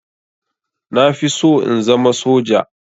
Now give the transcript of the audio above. Na fi so in zama soja